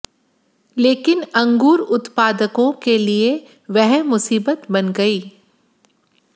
लेकिन अंगूर उत्पादकों के लिए वह मुसीबत बन गई